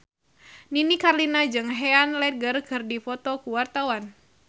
Nini Carlina jeung Heath Ledger keur dipoto ku wartawan